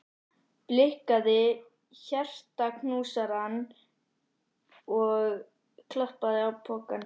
Blikkaði hjartaknúsarann og klappaði á pokann.